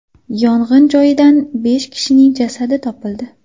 Yong‘in joyidan besh kishining jasadi topildi.